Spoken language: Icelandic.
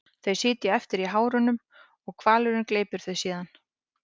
Þau sitja eftir í hárunum og hvalurinn gleypir þau síðan.